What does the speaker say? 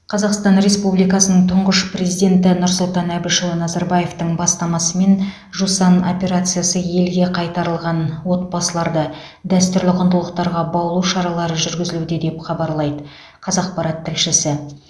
қазақстан республикасының тұңғыш президенті нұрсұлтан әбішұлы назарбаевтың бастамасымен жусан операциясы елге қайтарылған отбасыларды дәстүрлі құндылықтарға баулу шаралары жүргізілуде деп хабарлайды қазақпарат тілшісі